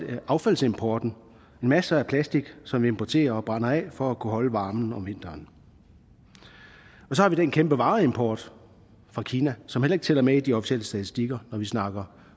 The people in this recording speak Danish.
affaldsimporten masser af plastik som vi importerer og brænder af for at kunne holde varmen om vinteren så har vi den kæmpe vareimport fra kina som heller ikke tæller med i de officielle statistikker når vi snakker